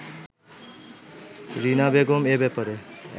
রীনা বেগম এ ব্যাপারে